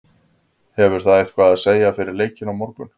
Hefur það eitthvað að segja fyrir leikinn á morgun?